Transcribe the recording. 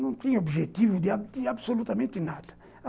Não tinha objetivo de de absolutamente nada.